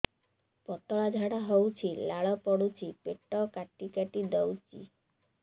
ପତଳା ଝାଡା ହଉଛି ଲାଳ ପଡୁଛି ପେଟ କାଟି କାଟି ଦଉଚି